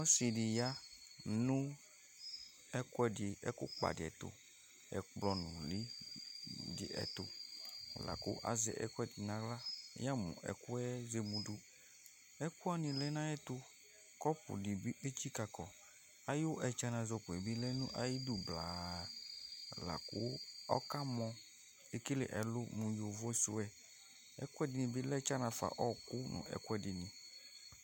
Ɔsɩ ɖɩ ƴa nʋ ɛƙplɔ nʋlɩ ɖɩ ɛtʋAzɛ ɛƙʋɛɖɩ nʋ aɣla ,ƴamʋ ɛƙʋɛ zemuɖuƐƙʋ wanɩ lɛ nʋ aƴʋ ɛtʋ, ƙɔpʋ ɖɩ bɩ tsiƙaƙɔAƴʋ ɛtsanazɔƙo ƴɛ bɩ lɛ nʋ aƴʋiɖu blaa, laƙʋ ɔka mɔEƙele ɛlʋ mʋ ƴovo sʋɛ, ɛƙʋɛɖɩnɩ bɩ lɛ tsana fa